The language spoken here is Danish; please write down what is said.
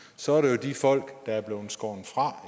så er det jo de folk der er skåret fra